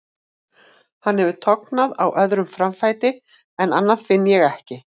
Hann hefur tognað á öðrum framfæti en annað finn ég ekki.